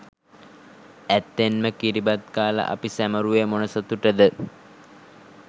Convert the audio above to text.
ඇත්තෙන්ම කිරිබත් කාලා අපි සැමරුවේ මොන සතුටද?